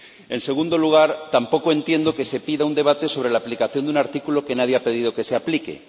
En segundo lugar, tampoco entiendo que se pida un debate sobre la aplicación de un artículo que nadie ha pedido que se aplique.